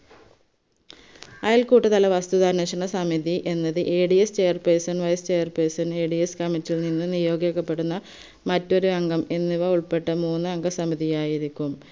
അയൽക്കൂട്ടതല വസ്തുതാന്വേഷണ സമിതി എന്നത് ADS chairperson vice chairpersonadscommitty യിൽ നിന്ന് നിയോഗിക്കപ്പെടുന്ന മറ്റൊരു അംഗം എന്നിവ ഉൾപ്പെട്ട മൂന്നംഗ സമിതി ആയിരിക്കുയും